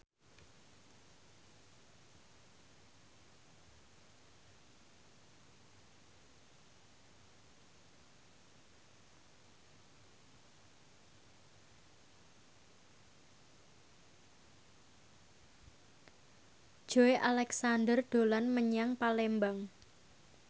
Joey Alexander dolan menyang Palembang